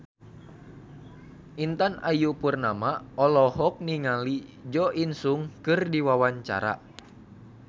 Intan Ayu Purnama olohok ningali Jo In Sung keur diwawancara